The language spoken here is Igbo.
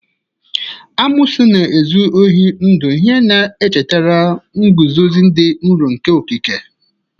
Amoosu na-ezu ohi ndụ, ihe na-echetara nguzozi dị nro nke okike.